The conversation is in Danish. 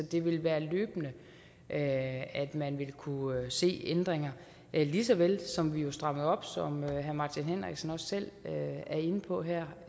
det vil være løbende at at man vil kunne se ændringer lige så vel som vi jo strammede op som herre martin henriksen også selv er inde på her